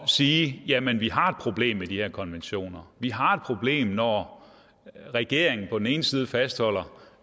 sige jamen vi har et problem med de her konventioner vi har et problem når regeringen på den ene side fastholder